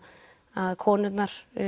að konurnar